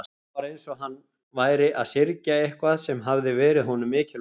Það var eins og hann væri að syrgja eitthvað sem hafði verið honum mikilvægt.